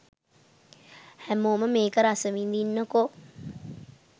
හැමෝම මේක රසවිඳින්නකෝ